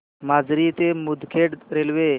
माजरी ते मुदखेड रेल्वे